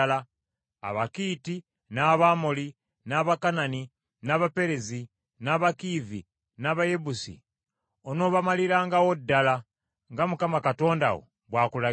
Abakiiti, n’Abamoli, n’Abakanani, n’Abaperezi, n’Abakiivi, n’Abayebusi, onoobamalirangawo ddala, nga Mukama Katonda wo bw’akulagidde,